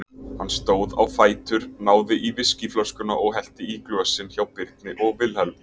Hann stóð á fætur, náði í viskíflöskuna og hellti í glösin hjá Birni og Vilhelm.